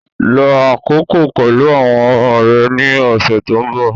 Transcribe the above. Lo àkókò pẹ̀lú àwọn ọmọ rẹ ní ọ̀sẹ̀ tó ń bọ̀